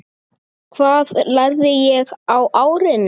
Hvað lærði ég á árinu?